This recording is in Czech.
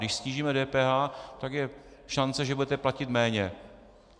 Když snížíme DPH, tak je šance, že budete platit méně.